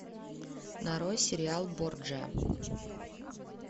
нарой сериал борджиа